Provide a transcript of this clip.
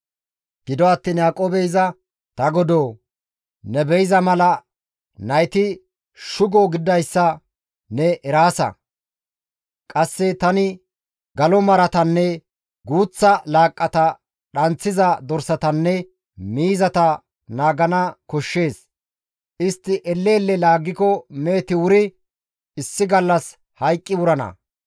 Gido attiin Yaaqoobey iza, «Ta godoo! Ne be7iza mala nayti shugo gididayssa ne eraasa; qasse tani galo maratanne guuththa laaqqata dhanththiza dorsatanne miizata naagana koshshees; istti elle elle laaggiko meheti wuri issi gallas hayqqi wurana.